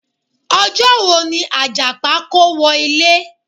Ọjọ́ wo ni Àjàpá kówọ ilé?